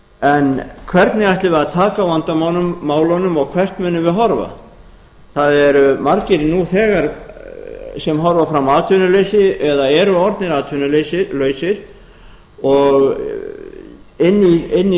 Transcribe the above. en hvernig ætlum við að taka á vandamálunum og hvert munum við horfa það eru margir nú þegar sem horfa fram á atvinnuleysi eða eru orðnir atvinnulausir og inn í